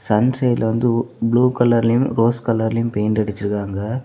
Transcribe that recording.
Sun சைடுல வந்து blue கலர்லியும் ரோஸ் கலர்லியும் பெயிண்ட் அடிச்சிருக்காங்க.